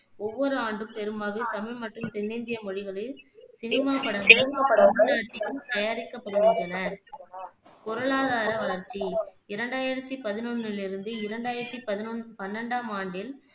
ஒவ்வொரு ஆண்டும், பெருமளவில் தமிழ் மற்றும் தென்னிந்திய மொழிகளில் சினிமாப் படங்கள் தமிழ் நாட்டில் தயாரிக்கப்படுகின்றன. பொருளாதார வளர்ச்சி இரண்டாயிரத்தி பதினொண்ணில் இருந்து இரண்டாயிரத்தி பதி பன்னெண்டாம் ஆண்டில்